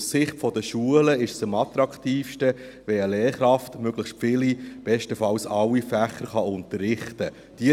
Aus Sicht der Schulen ist es am attraktivsten, wenn eine Lehrkraft möglichst viele – bestenfalls alle – Fächer unterrichten kann.